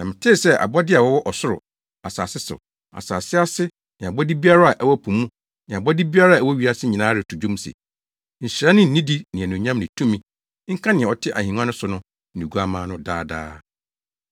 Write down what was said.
Na metee sɛ abɔde a wɔwɔ ɔsoro, asase so, asase ase ne abɔde biara a ɛwɔ po mu ne abɔde biara a ɛwɔ wiase nyinaa reto dwom se, “Nhyira ne nidi ne anuonyam ne tumi, nka nea ɔte ahengua no so ne Oguamma no, daa daa!”